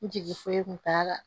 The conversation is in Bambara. N jigi foyi kun t'a la